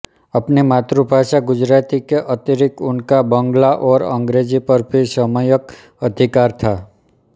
अपनी मातृभाषा गुजराती के अतिरिक्त उनका बँगला और अंग्रेजी पर भी सम्यक् अधिकार था